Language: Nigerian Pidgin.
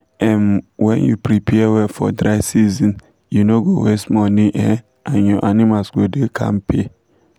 um when u prepare well for dryseason you no go waste money um and your animals go da kampe